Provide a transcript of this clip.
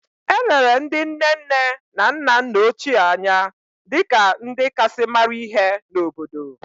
E lere ndị nne nne na nna nna ochie anya dị ka ndị kasị mara ihe n’obodo